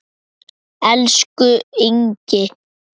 Elsku Ingi.